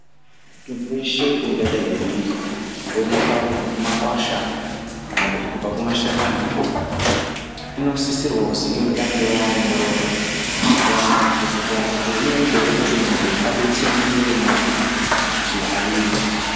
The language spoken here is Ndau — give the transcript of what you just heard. Mitombo yeshe ingadayi yeyionekwa kubva kumakwasha kana kuti kubva kumashakani inosisirwa kuzi itange yaongoororwa ndiana mazvikokota kuti inoyita ere kuti mundu adutse mumwiri mwake kana kuti ayiiti.